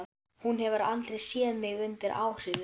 Hún hefur aldrei séð mig undir áhrifum.